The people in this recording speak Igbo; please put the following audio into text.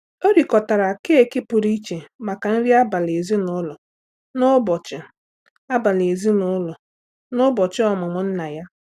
O rịkọtara keeki pụrụ iche maka nri abalị ezinụlọ n'ụbọchị abalị ezinụlọ n'ụbọchị ọmụmụ nna ya.